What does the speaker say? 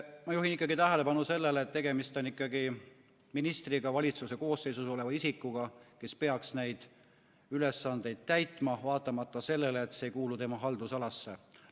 Ma juhin tähelepanu sellele, et tegemist on ikkagi ministriga, valitsuse koosseisus oleva isikuga, kes peaks neid ülesandeid täitma, vaatamata sellele, et see ei kuulu tema haldusalasse.